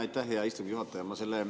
Aitäh, hea istungi juhataja!